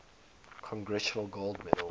congressional gold medal